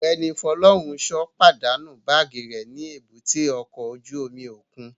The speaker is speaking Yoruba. Ọgbẹni Funsho padanu baagi rẹ ni èbúté ọkọ ojú omi okun